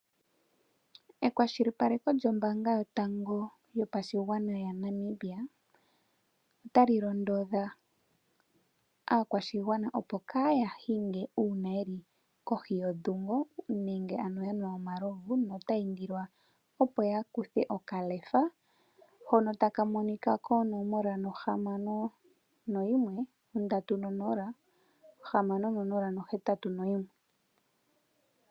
Ekwashilipaleko lyombaanga yotango yopashigwana yaNamibia ota li londodha aakwashigwana, opo ka ya hinge uuna ye li kohi yiikolitha, ano ya nwa omalovu notaya indilwa opo ya kuthe okaLEFA, hono taka monika ko 061 306081.